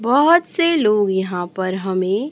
बहोत से लोग यहां पर हमें--